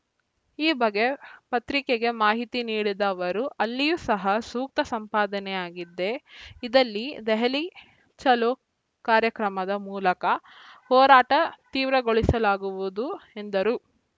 ಈ ಬಗ್ಗೆ ಪತ್ರಿಕೆಗೆ ಮಾಹಿತಿ ನೀಡಿದ ಅವರು ಅಲ್ಲಿಯೂ ಸಹ ಸೂಕ್ತ ಸಂಪಾದನೆಯಾಗಿದ್ದೆ ಇದ್ದಲ್ಲಿ ದೆಹಲಿ ಚಲೋ ಕಾರ್ಯಕ್ರಮದ ಮೂಲಕ ಹೋರಾಟ ತೀವ್ರಗೊಳಿಸಲಾಗುವುದು ಎಂದರು